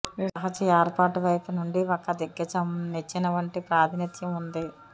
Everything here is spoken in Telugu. ఈ సహజ ఏర్పాటు వైపు నుండి ఒక దిగ్గజం నిచ్చెన వంటి ప్రాతినిధ్యం ఉంది